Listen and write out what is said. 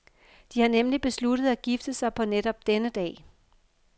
De har nemlig besluttet at gifte sig på netop denne dag.